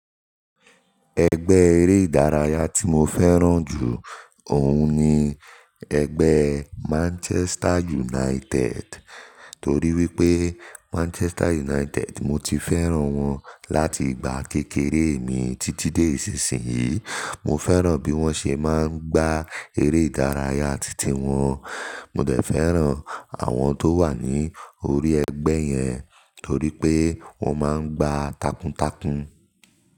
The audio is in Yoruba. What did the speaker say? Ẹgbẹ́ eré ìdárayá tí mo fẹ́ràn jù òun ni ẹgbẹ́ Manchester United, torí wípé Manchester United mó tií fẹ́ràn wọn láti ìgbà kékeré mi títí dé ìsinsìnyí. Mo fẹ́ràn bí wón ṣe má ń gbá eré ìdárayá títí wọn. Mo dẹ̀ fẹ́ràn àwọn tó wà ní orí ẹgbẹ́ yẹn torí pé wón má ń gba takuntakun.